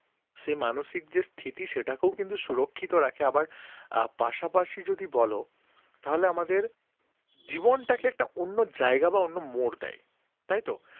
সে মানসিক যে স্থিতি সেটাকেও কিন্তু সুরক্ষিত রাখে আবার পাশাপাশি যদি বলো তাহলে আমাদের জীবনটাকে একটা অন্য জায়গা বা একটা অন্য মোর দেয় তাইতো